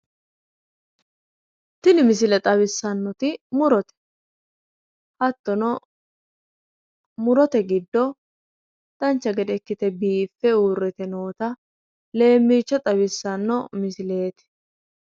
tini misile xawissannohu murote hattonno murote giddo dancha gede ikkite biiffe uurrite noota leemiicho xawissanno misileeti.